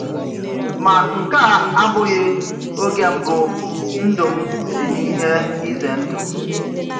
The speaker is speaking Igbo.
Ma nke a abụghị oge mbụ ndụ m dị n’ihe ize ndụ.